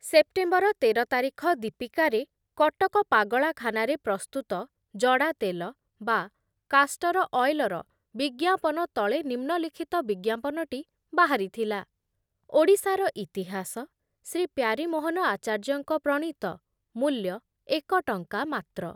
September ତେର ତାରିଖ ଦୀପିକାରେ କଟକ ପାଗଳାଖାନାରେ ପ୍ରସ୍ତୁତ ଜଡ଼ାତେଲ ବା କାଷ୍ଟର ଅଏଲର ବିଜ୍ଞାପନ ତଳେ ନିମ୍ନଲିଖିତ ବିଜ୍ଞାପନଟି ବାହାରିଥିଲା ଯେ ଓଡ଼ିଶାର ଇତିହାସ ଶ୍ରୀ ପ୍ୟାରୀମୋହନ ଆଚାର୍ଯ୍ୟଙ୍କ ପ୍ରଣୀତ ମୂଲ୍ୟ ଏକ ଟଙ୍କା ମାତ୍ର